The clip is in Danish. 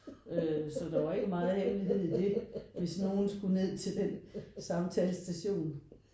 Øh så der var ikke meget hemmelighed i det hvis nogen skulle ned til den samtalestation